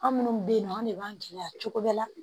An minnu bɛ yen nɔ an de b'an gɛlɛya cogo bɛɛ la